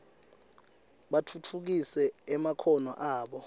batfutfukise emakhono abo